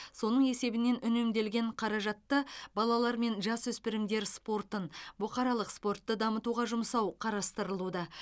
соның есебінен үнемделген қаражатты балалар мен жасөспірімдер спортын бұқаралық спортты дамытуға жұмсау қарастырылуда